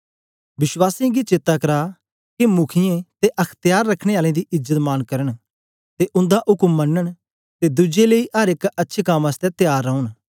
वश्वासीयें गी चेता करा के मुखीयें ते अख्त्यार रखने आलें दी इज्जत मांन करन ते उंदा उक्म मनन ते दुज्जे लेई अर एक अच्छे कम आसतै त्यार रौन